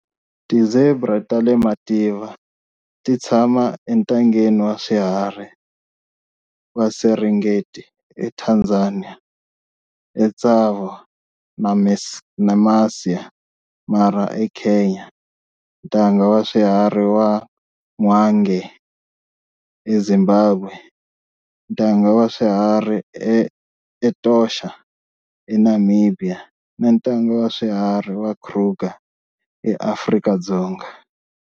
Ti-zebra ta le mativa ti tshama eNtangeni wa Swiharhi wa Serengeti eTanzania, eTsavo na Masai Mara eKenya, Ntanga wa Swiharhi wa Hwange eZimbabwe, Ntanga wa Swiharhi wa Etosha eNamibia, na Ntanga wa Swiharhi wa Kruger eAfrika.